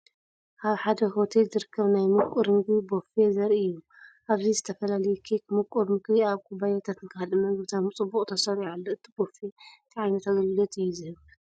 ኣብ ሓደ ሆቴል ዝርከብ ናይ ምቁር መግቢ ቡፌ ዘርኢ እዩ። ኣብዚ ዝተፈላለየ ኬክ፡ ምቁር መግቢ ኣብ ኩባያታትን ካልእ መግብታትን ብጽቡቕ ተሰሪዑ ኣሎ። እቲ ቡፌ እንታይ ዓይነት ኣገልግሎት እዩ ዝህብ?